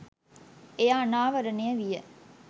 එය අනාවරණය විය